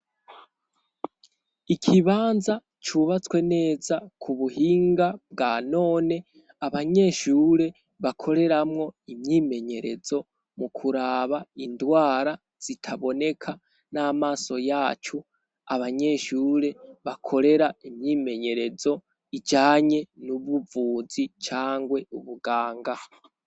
Ikibanza cubatswe neza ku buhinga bwa none ; abanyeshure bakoreramwo imyimenyerezo mu kuraba indwara zitaboneka n'amaso yacu ; abanyeshure bakorera imyimenyerezo ijanye n'ubuvuzi cangwe ubuganga.